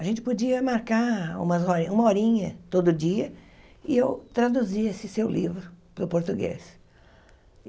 A gente podia marcar uma horinha, todo dia, e eu traduzia esse seu livro para o português.